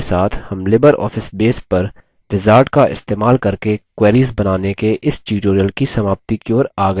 इसी के साथ हम libreoffice base पर wizard का इस्तेमाल करके queries बनाने के इस tutorial की समाप्ति की ओर आ गये हैं